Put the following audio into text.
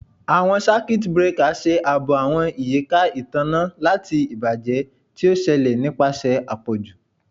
Awọn Circuit breaker ṣe aabo awọn iyika itanna lati ibajẹ ti o ṣẹlẹ nipasẹ apọju